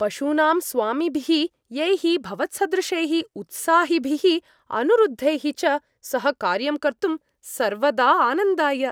पशूनां स्वामीभिः यैः भवत्सदृशैः उत्साहिभिः अनुरुद्धैः च सह कार्यं कर्तुं सर्वदा आनन्दाय।